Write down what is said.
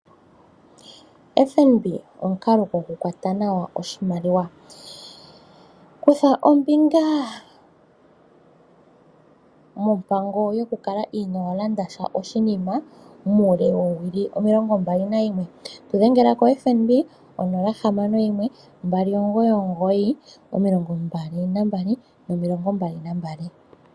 FNB omukalo gokukwata nawa oshimaliwa. Kutha ombinga mompango yokukala inoo landa sha oshinima muule woowili omilongombali nayimwe. Tu dhengela koFNB 061 2992222.